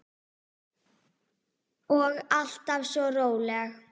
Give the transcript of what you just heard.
Og alltaf svo róleg.